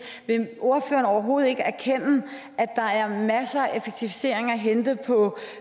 vil ordføreren overhovedet ikke erkende at der er masser af effektivisering at hente på